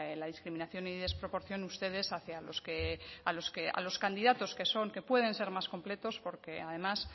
la discriminación y desproporción ustedes hacia los que a los candidatos que son que pueden ser más completos porque además